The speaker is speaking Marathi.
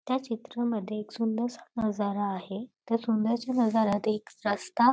त्या चित्रामध्ये एक सुंदरसा नजारा आहे त्या सुंदरश्या नजाऱ्यात एक रस्ता--